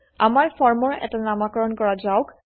আমাৰ ফৰ্মৰ এটা নামাকৰণ কৰা যাওক